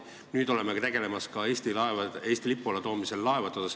Nüüd tegeleme ka laevade Eesti lipu alla toomisega.